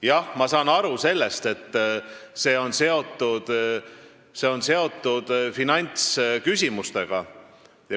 Jah, ma saan aru, et see on seotud finantsküsimustega.